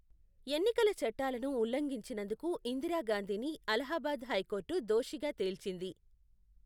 ఎన్నికల చట్టాలను ఉల్లంఘించినందుకు ఇందిరాగాంధీని అలహాబాద్ హైకోర్టు దోషిగా తేల్చింది.